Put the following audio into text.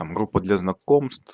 там группа для знакомств